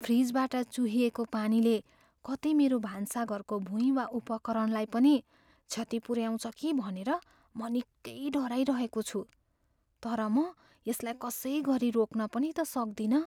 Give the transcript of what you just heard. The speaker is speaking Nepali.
फ्रिजबाट चुहिएको पानीले कतै मेरो भान्साघरको भुईँ वा उपकरणलाई पनि क्षति पुऱ्याउँछ कि भनेर म निकै डराइरहेको छु, तर म यसलाई कसै गरी रोक्न पनि त सक्दिनँ।